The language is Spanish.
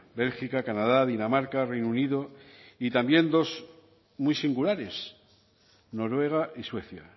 bélgica canadá dinamarca reino unido y también dos muy singulares noruega y suecia